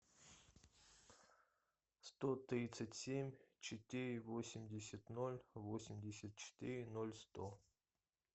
сто тридцать семь четыре восемьдесят ноль восемьдесят четыре ноль сто